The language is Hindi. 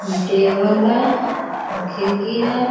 ये टेबल है और खिड़की है।